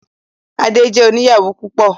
Adé jẹ́ oníyàwó púpọ̀.